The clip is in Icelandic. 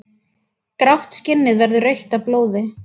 Grátt skinnið verður rautt af blóði.